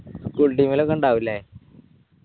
full team ഇലൊക്കെ ഇണ്ടാവു ല്ലേ